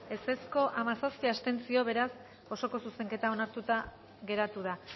contra hamazazpi abstentzio beraz osoko zuzenketa onartuta geratu da